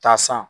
Taa san